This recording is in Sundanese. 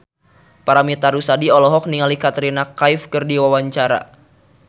Paramitha Rusady olohok ningali Katrina Kaif keur diwawancara